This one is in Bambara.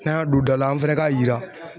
N'an y'a don da la an fɛnɛ k'a yira